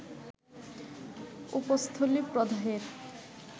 উপস্থলি প্রদাহের